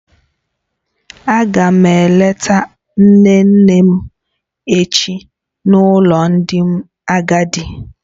Aga m eleta nne nne m echi n'ụlọ ndị agadi.